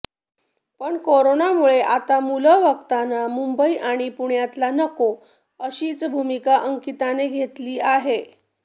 पण कोरोनामुळे आता मुलं बघताना मुंबई आणि पुण्यातला नको अशीच भूमिका अंकिताने घेतली आहे